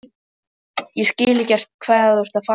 Ég skil ekkert hvað þú ert að fara.